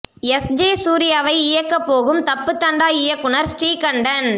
S J சூர்யாவை இயக்கப் போகும் தப்பு தண்டா இயக்குநர் ஸ்ரீகண்டன்